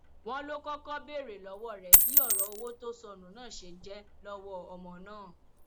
wọn ló kọkọ béèrè lọwọ rẹ bí ọrọ owó tó sọnù náà ṣe jẹ lọwọ ọmọ náà